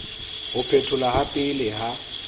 ho phetholwa ha pele ha